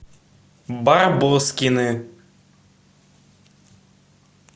барбоскины